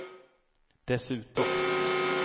dessutom